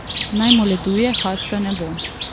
Naj moleduje, haska ne bo.